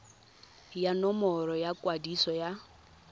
ya nomoro ya kwadiso ya